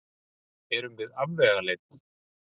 Erum við afvegaleidd?